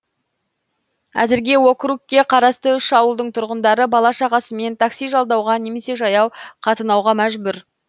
әзірге округке қарасты үш ауылдың тұрғындары бала шағасымен такси жалдауға немесе жаяу қатынауға мәжбүр